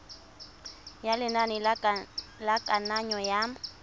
ya lenane la kananyo ya